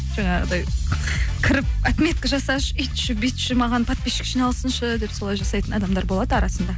жаңағыдай кіріп отметка жасашы үйтші бүйтші маған подписщик жиналсыншы деп солай жасайтын адамдар болады арасында